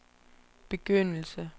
begyndelse